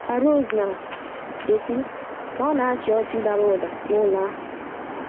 Ka Rose na - ekwu ka ọ na - achị ọchị dara ụda n’ụlọ ahụ.